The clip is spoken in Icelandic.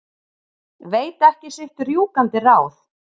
Veit ekki sitt rjúkandi ráð.